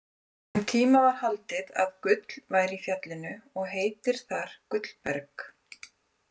Um tíma var haldið að gull væri í fjallinu og heitir þar Gullberg.